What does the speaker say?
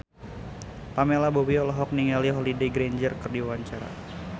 Pamela Bowie olohok ningali Holliday Grainger keur diwawancara